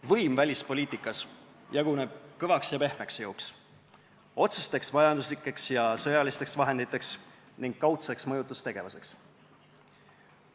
Võim välispoliitikas jaguneb kõvaks ja pehmeks jõuks, otsesteks majanduslikeks ja sõjalisteks vahenditeks ning kaudseks mõjutustegevuseks.